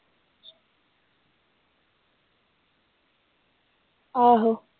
ਆਹੋ